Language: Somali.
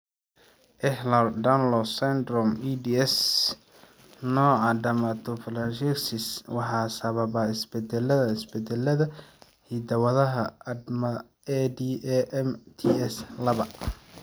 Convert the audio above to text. Ehlers Danlos syndrome (EDS), nooca dermatosparaxis waxaa sababa isbeddellada (isbeddellada) hidda-wadaha ADAMTS laba.